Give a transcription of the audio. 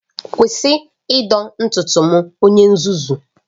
Kwụsị ịdọ ntutu m onye nzuzu!